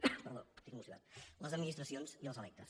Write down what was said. perdó estic constipat les administracions i els electes